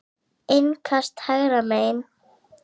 Innkast hægra megin.